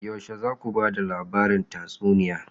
Yaushe za ku ba da labarin tatsuniya?